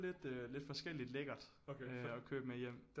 Lidt øh lidt forskelligt lækkert at købe med hjem